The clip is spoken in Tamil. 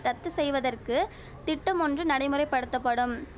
ரத்து செய்வதற்கு திட்டமொன்று நடைமுறைப்படுத்தப்படும்